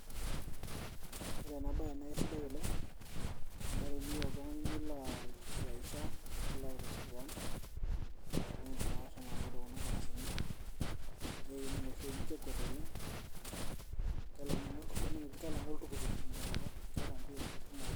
Ore ena bae na aisidai oleng',amu teniyieu oltung'ani nilo aijifuraisha, nilo aitiship keon, na idim ake ashomo takedown kuna farasini, nekining' oshi eji kekuet oleng',kelang'u aning' eji kelang'u oltukutuk tenkwatata. Keeta mbio kumok oleng'.